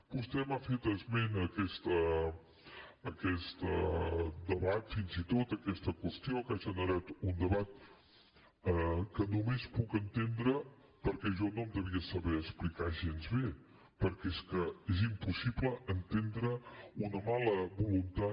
vostè m’ha fet esment d’aquest debat fins i tot d’aquesta qüestió que ha generat un debat que només puc entendre perquè jo no em devia saber explicar gens bé perquè és que és impossible entendre una mala voluntat